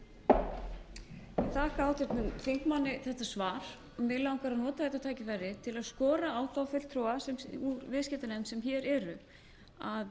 ég þakka háttvirtum þingmanni þetta svar mig langar að nota þetta tækifæri til að skora á fulltrúa í viðskiptanefnd sem hér eru að